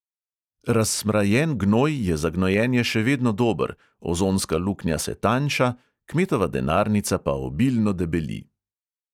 Razsmrajen gnoj je za gnojenje še vedno dober, ozonska luknja se tanjša, kmetova denarnica pa obilno debeli.